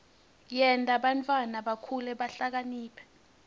yenta bantfwana bakhule bahlakaniphile